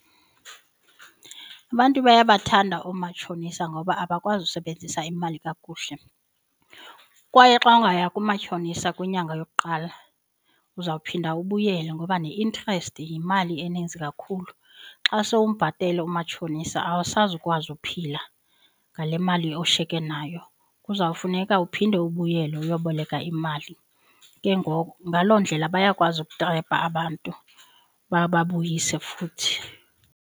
Abantu bayabathanda omatshonisa ngoba abakwazi usebenzisa imali kakuhle. Kwaye xa ungaya kumatshonisa kwinyanga yokuqala uzawuphinda ubuyele ngoba ne-interest yimali eninzi kakhulu. Xa sowumbhatele umatshonisa awusazi ukwazi uphila ngale mali ushiyeke nayo kuzawufuneka uphinde ubuyele uyoboleka imali. Ke ngoku ngaloo ndlela bayakwazi ukutrepa abantu bababuyise futhi.